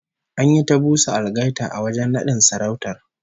An yi ta busa algaita a wajen nadin sarautar